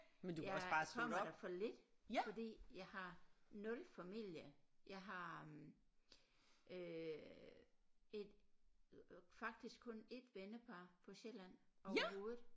Jeg kommer der for lidt fordi jeg har 0 familie jeg har øh et faktisk kun 1 vennepar på Sjælland overhovedet